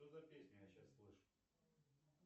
что за песню я сейчас слышу